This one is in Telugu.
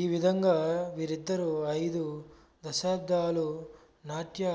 ఈ విధంగా వీరుద్దరూ అయిదు దశాబ్దాలు నాట్య